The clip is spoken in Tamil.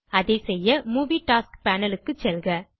அதை செய்ய மூவி டாஸ்க்ஸ் Panelக்கு செல்க